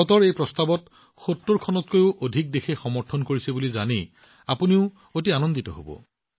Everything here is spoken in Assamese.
ভাৰতৰ এই প্ৰস্তাৱটোৱে ৭০ খনতকৈও অধিক দেশৰ সমৰ্থন লাভ কৰিছে বুলি জানি আপোনালোক অতি আনন্দিত হব